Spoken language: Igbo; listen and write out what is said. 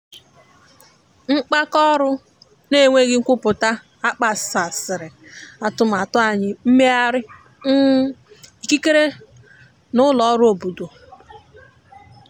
mkpaọrụ na enweghi nkwụpụta kpaghasiri atụmatụ anyi mmeghari um ikikere na ụlọ ọrụ obodo.